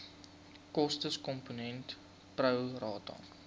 kostekomponent pro rata